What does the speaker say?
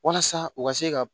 Walasa u ka se ka